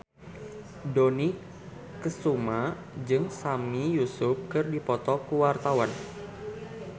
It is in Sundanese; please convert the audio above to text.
Dony Kesuma jeung Sami Yusuf keur dipoto ku wartawan